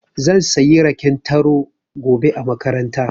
Zan sayi raken taro gobe a makaranta.